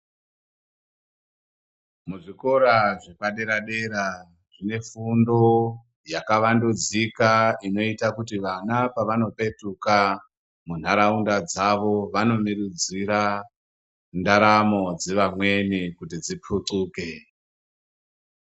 Muzvikora zvepadera dera mune fundo yakawandudzika inoita kuti vana pavanopetuka kuntaraunda dzawo vanomirudzira ndaramo dzevamweni kuti dzipuxuke.